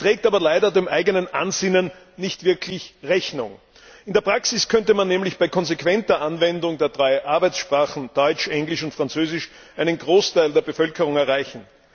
Sie trägt aber leider dem eigenen Ansinnen nicht wirklich Rechnung. In der Praxis könnte man nämlich bei konsequenter Anwendung der drei Arbeitssprachen Deutsch, Englisch und Französisch einen Großteil der Bevölkerung erreichen.